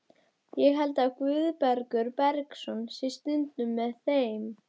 Ég held að Guðbergur Bergsson sé stundum með þeim.